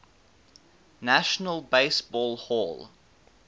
national baseball hall